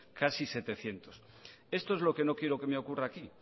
casi setecientos esto es lo que no quiero que me ocurra aquí